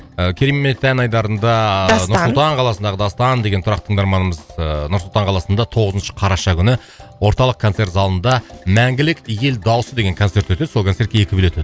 ы керемет ән айдарында дастан нұр сұлтан қаласындағы дастан деген тұрақты тыңдарманымыз ыыы нұр сұлтан қаласында тоғызыншы қараша күні орталық концерт залында мәңгілік ел дауысы деген концерт өтеді сол концертке екі билет